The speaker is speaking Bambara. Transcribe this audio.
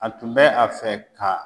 A tun bɛ a fɛ ka